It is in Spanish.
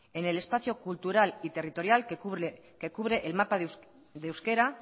en el espacio cultural y territorial que cubre el mapa de euskera